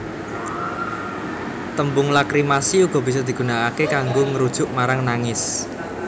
Tembung lakrimasi uga bisa digunakaké kanggo ngrujuk marang nangis